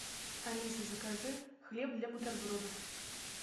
алиса закажи хлеб для бутербродов